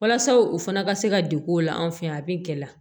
Walasa u fana ka se ka degun o la an fɛ yan a bɛ gɛlɛya